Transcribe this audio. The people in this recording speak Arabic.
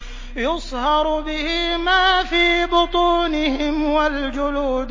يُصْهَرُ بِهِ مَا فِي بُطُونِهِمْ وَالْجُلُودُ